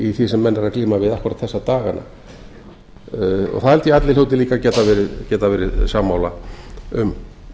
í því sem menn eru að glíma við akkúrat þessa dagana það held ég að allir hljóti líka að geta verið sammála um